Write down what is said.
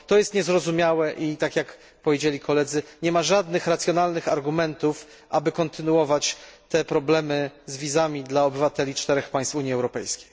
To jest niezrozumiałe i, jak powiedzieli koledzy, nie ma żadnych racjonalnych argumentów, aby kontynuować utrudnianie ruchu bezwizowego obywatelom czterech państw Unii Europejskiej.